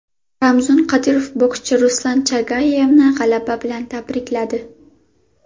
Ramzan Qodirov bokschi Ruslan Chagayevni g‘alaba bilan tabrikladi.